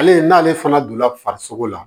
Ale n'ale fana donna farisoko la